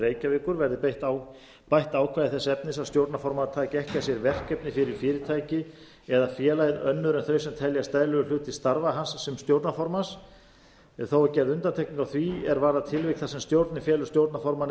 reykjavíkur verði bætt ákvæði þess efnis að stjórnarformaður tæki ekki að sér verkefni fyrir fyrirtæki eða félagið önnur en þau sem teljast eðlilegur hluti starfa hans sem stjórnarformanns en þó er gerð undantekning á því er varðar tilvik þar sem stjórnir og félög stjórnarformanna